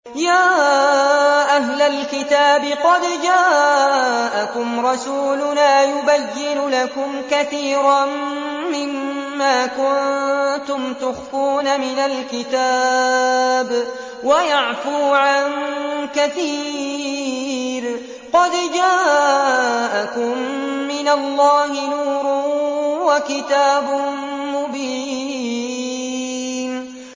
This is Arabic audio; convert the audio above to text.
يَا أَهْلَ الْكِتَابِ قَدْ جَاءَكُمْ رَسُولُنَا يُبَيِّنُ لَكُمْ كَثِيرًا مِّمَّا كُنتُمْ تُخْفُونَ مِنَ الْكِتَابِ وَيَعْفُو عَن كَثِيرٍ ۚ قَدْ جَاءَكُم مِّنَ اللَّهِ نُورٌ وَكِتَابٌ مُّبِينٌ